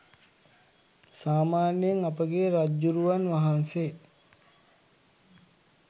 සාමාන්‍යයෙන් අපගේ රජ්ජුරුවන් වහන්සේ